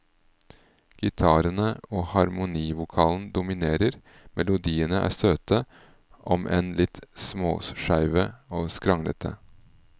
Gitarene og harmonivokalen dominerer, melodiene er søte, om enn litt småskeive og skranglete.